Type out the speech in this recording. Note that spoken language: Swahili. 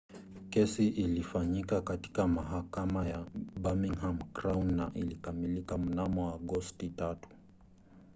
kesi ilifanyika katika mahakama ya birmingham crown na ilikamilika mnamo agosti 3